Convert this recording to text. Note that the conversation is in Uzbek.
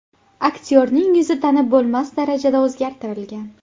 Aktyorning yuzi tanib bo‘lmas darajada o‘zgartirilgan.